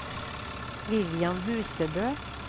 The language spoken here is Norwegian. Vivian Husebø